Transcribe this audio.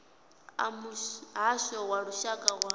a muhasho wa lushaka wa